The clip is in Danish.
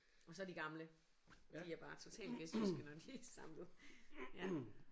Og så de gamle de er bare totalt vestjyske når de er samlet ja